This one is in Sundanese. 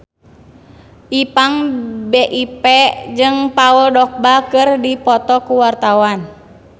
Ipank BIP jeung Paul Dogba keur dipoto ku wartawan